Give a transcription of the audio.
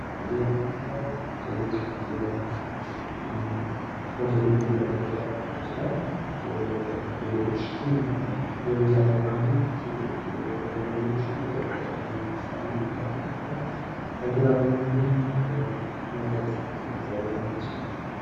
ቡና ቤቶች ለግል ስብሰባዎች፣ ለሥራ ውይይቶች ወይም ጸጥ ብሎ ለመሥራት ምቹ ሲሆኑ ምግብ ቤቶች ለቤተሰብ ምሳ/እራት ተስማሚ ናቸው።